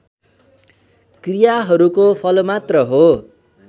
क्रियाहरूको फलमात्र हो